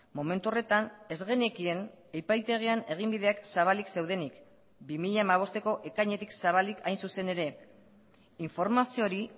momentu horretan ez genekien epaitegian eginbideak zabalik zeudenik bi mila hamabosteko ekainetik zabalik hain zuzen ere informazio hori